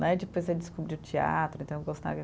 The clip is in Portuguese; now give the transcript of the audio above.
Né, e depois eu descobri o teatro, então eu gostava.